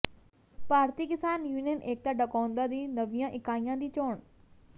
ਭਾਰਤੀ Kisan union Ekta Dakaunda ਦੀ ਨਵੀਂਆਂ ਇਕਾਈਆਂ ਦੀ ਚੋਣ